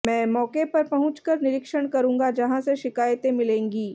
मैं मौके पर पहुंचकर निरीक्षण करूंगा जहाँ से शिकायतें मिलेंगी